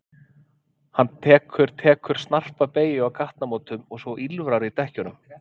Hann tekur tekur snarpa beygju á gatnamótum svo að ýlfrar í dekkjunum.